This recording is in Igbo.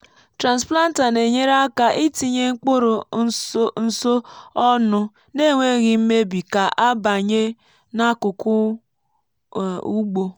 transplanter na-enyere aka itinye mkpụrụ nso ọnụ n’enweghị mmebi ka a banye n’akụkụ ugbo.